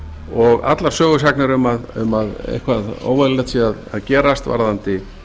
og allar sögusagnir um að eitthvað óeðlilegt sé að gerast varðandi